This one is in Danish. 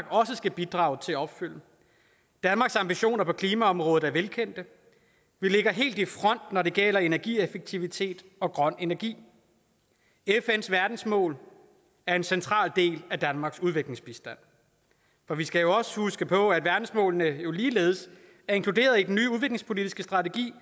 også skal bidrage til at opfylde danmarks ambitioner på klimaområdet er velkendte vi ligger helt i front når det gælder energieffektivitet og grøn energi fns verdensmål er en central del af danmarks udviklingsbistand for vi skal jo også huske på at verdensmålene ligeledes er inkluderet i den nye udviklingspolitiske strategi